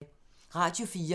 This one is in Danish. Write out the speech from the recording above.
Radio 4